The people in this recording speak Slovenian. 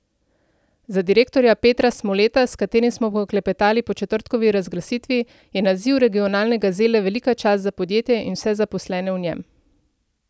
Za direktorja Petra Smoleta, s katerim smo poklepetali po četrtkovi razglasitvi, je naziv regionalne gazele velika čast za podjetje in vse zaposlene v njem.